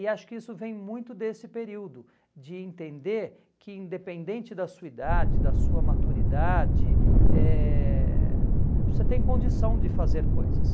E acho que isso vem muito desse período, de entender que independente da sua idade, da sua maturidade, eh você tem condição de fazer coisas.